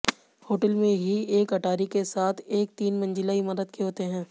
hotel में ही एक अटारी के साथ एक तीन मंजिला इमारत के होते हैं